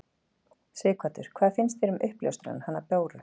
Sighvatur: Hvað finnst þér um uppljóstrarann, hana Báru?